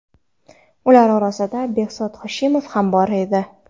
Ular orasida Behzod Hoshimov ham bor edi.